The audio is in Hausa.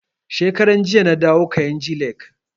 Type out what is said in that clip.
Shekaran jiya na dawo kainji lake